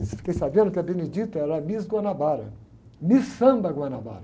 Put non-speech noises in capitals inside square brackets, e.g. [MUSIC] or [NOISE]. [UNINTELLIGIBLE] eu fiquei sabendo que a Benedita era Miss Guanabara, Miss Samba Guanabara.